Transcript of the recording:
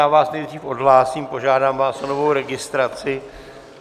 Já vás nejdřív odhlásím, požádám vás o novou registraci.